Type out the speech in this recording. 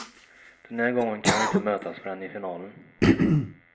Den här gången kan vi inte mötas förrän i finalen.